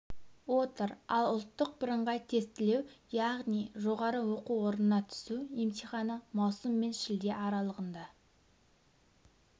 отыр ал ұлттық бірыңғай тестілеу яғни жоғары оқу орнына түсу емтиіаны маусым мен шілде аралығында